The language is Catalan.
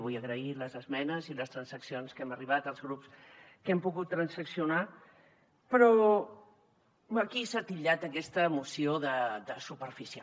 vull agrair les esmenes i les transaccions a què hem arribat els grups que hem pogut transaccionar però aquí s’ha titllat aquesta moció de superficial